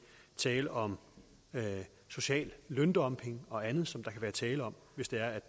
tale om social løndumping og andet som der kan være tale om hvis det er